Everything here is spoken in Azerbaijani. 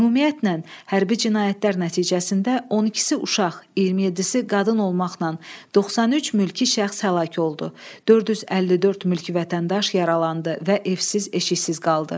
Ümumiyyətlə, hərbi cinayətlər nəticəsində 12-si uşaq, 27-si qadın olmaqla 93 mülki şəxs həlak oldu, 454 mülki vətəndaş yaralandı və evsiz-eşiksiz qaldı.